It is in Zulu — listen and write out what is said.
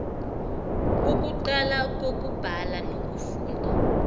ukuqala kokubhala nokufunda